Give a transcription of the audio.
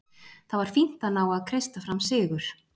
Það var fínt að ná að kreista fram sigur.